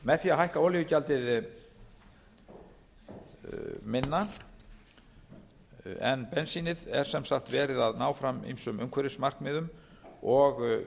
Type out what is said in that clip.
með því að hækka olíugjaldið minna en bensínið er sem sagt verið að ná fram ýmsum umhverfismarkmiðum og